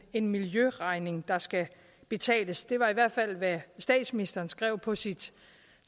en miljøregning der skal betales det var i hvert fald hvad statsministeren skrev på sit